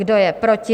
Kdo je proti?